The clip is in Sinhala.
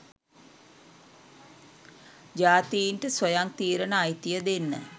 ජාතීන්ට ස්වයං තීරන අයිතිය දෙන්න.